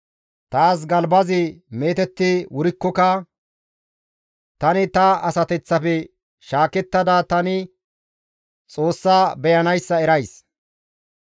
Taas galbazi meetetti wurikkoka tani ta asateththafe shaakettada tani Xoossaa beyanayssa erays.